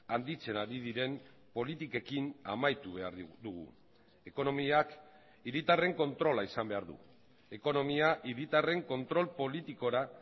handitzen ari diren politikekin amaitu behar dugu ekonomiak hiritarren kontrola izan behar du ekonomia hiritarren kontrol politikora